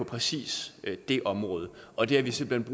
præcis det område og det har vi simpelt